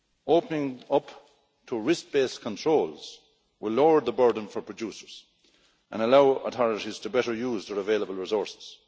Opening up to risk based controls will lower the burden for producers and allow authorities to better use their available resources.